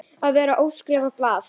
Að vera óskrifað blað